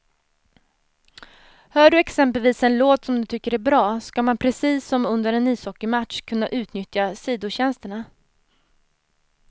Hör du exempelvis en låt som du tycker är bra, ska man precis som under en ishockeymatch kunna utnyttja sidotjänsterna.